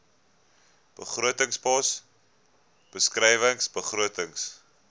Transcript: begrotingspos beskrywing begrotings